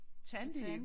Tandem